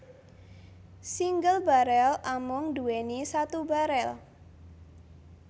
Single barel amung nduweni satu barel